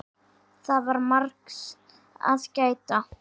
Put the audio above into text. Það var margs að gæta.